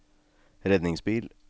redningsbil